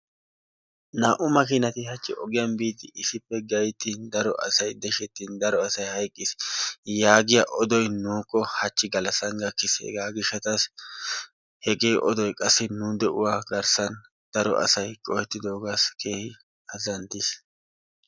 Naa'u makiinati hachi ogiyan biidi issippe gayttin daro asay deshshettin daro asay hayqqis yaagiya odoy nuuko hachi galassan gakkis hegaa gishataassi hegee oddoy qassi nu de'uwa garssan daro asay qohettidoogaassi keehin azzantiis.